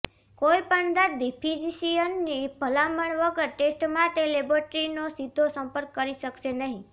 કોઈપણ દર્દી ફિઝિશિયનની ભલામણ વગર ટેસ્ટ માટે લેબોરેટરીનો સીધો સંપર્ક કરી શકશે નહીં